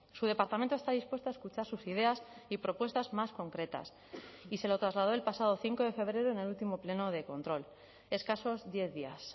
su departamento está dispuesto a escuchar sus ideas y propuestas más concretas y se lo trasladó el pasado cinco de febrero en el último pleno de control escasos diez días